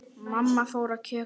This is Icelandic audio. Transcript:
Mamma fór að kjökra.